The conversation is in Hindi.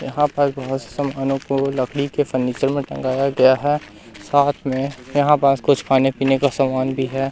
यहां पास बहोत समानो को लकड़ी के फर्नीचर में टंगाया गया है साथ में यहां पास कुछ खाने पीने का सामान भी है।